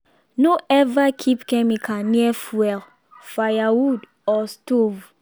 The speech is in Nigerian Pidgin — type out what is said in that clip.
no ever keep chemical near fuel firewood or stove.